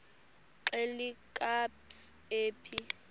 xelel kabs iphi